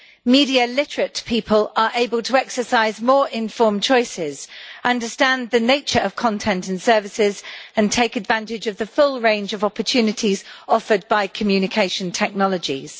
Media literate people are able to exercise more informed choices, understand the nature of content and services and take advantage of the full range of opportunities offered by communication technologies.